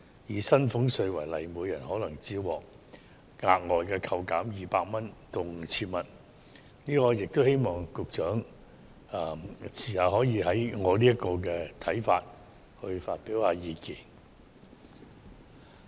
以薪俸稅納稅人為例，每人可能只獲額外扣減200元至 5,000 元，我希望局長稍後可以就我的看法來發表意見。